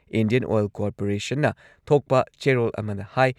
Indian oil ꯀꯣꯔꯄꯣꯔꯦꯁꯟꯅ ꯊꯣꯛꯄ ꯆꯦꯔꯣꯜ ꯑꯃꯅ ꯍꯥꯏ